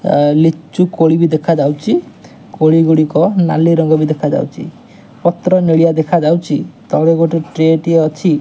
ଆ ଲିଚୁ କୋଳି ବି ଦେଖା ଯାଉଚି କୋଳି ଗୁଡ଼ିକ ନାଲି ରଙ୍ଗ ବି ଦେଖାଯାଉଚି ପତ୍ର ନେଳିଆ ଦେଖାଯାଉଚି ତଳେ ଗୋଟେ ଟ୍ରେ ଟିଏ ଅଛି।